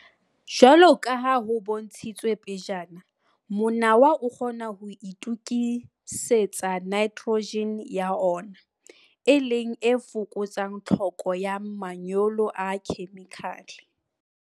Jwalo ka ha ho bontshitswe pejana, monawa o kgona ho itokisetsa nitrogen, N, ya ona, e leng e fokotsang tlhoko ya manyolo a khemikhale.